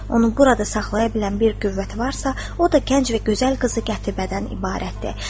Onu burada saxlaya bilən bir qüvvət varsa, o da gənc və gözəl qızı Gətibədən ibarətdir.